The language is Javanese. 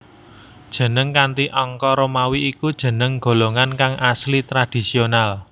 Jeneng kanthi angka Romawi iku jeneng golongan kang asli tradhisional